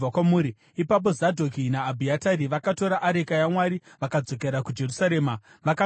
Ipapo Zadhoki naAbhiatari vakatora areka yaMwari vakadzokera kuJerusarema vakandogarako.